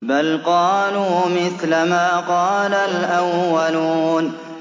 بَلْ قَالُوا مِثْلَ مَا قَالَ الْأَوَّلُونَ